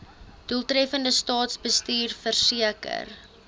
doeltreffende staatsbestuur verseker